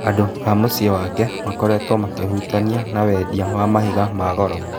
Andũ a mũcĩĩ wake makoretwo makĩhũtania na wendia wa mahiga magoro.